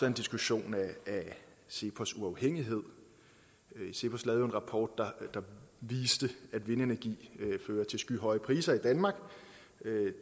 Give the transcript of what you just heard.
en diskussion af cepos uafhængighed cepos lavede jo en rapport der viste at vindenergi fører til skyhøje priser i danmark